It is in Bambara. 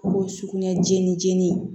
O ye sugunɛ jeni jeni ye